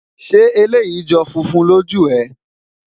ṣé eleyii jọ funfun lòó jù é?